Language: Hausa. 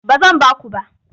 Ba zan ba ku ba.